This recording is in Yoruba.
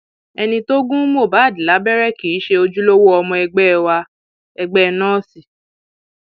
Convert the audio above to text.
ẹni tó gún mohbad lábẹrẹ kì í ṣe ojúlówó ọmọ ẹgbẹ wa ẹgbẹ nọọsì